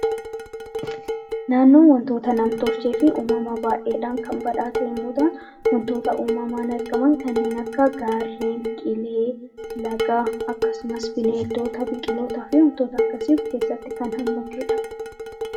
Naannoon wantoota nam-tolchee fi uumamaa baay'eedhaan kan badhaate yommuu taatu, wantoota uumamaan argaman kanneen akka gaarren, qilee, laga akkasumas bineensota, qilootaa fi wantoota kana fakkaatan kan of keessatti hammatedha.